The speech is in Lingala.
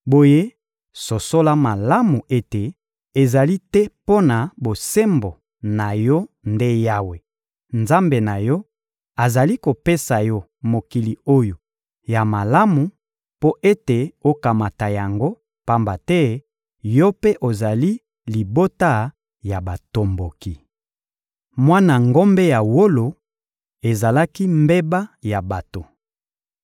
Boye sosola malamu ete ezali te mpo na bosembo na yo nde Yawe, Nzambe na yo, azali kopesa yo mokili oyo ya malamu mpo ete okamata yango, pamba te yo mpe ozali libota ya batomboki. Mwana ngombe ya wolo ezalaki mbeba ya bato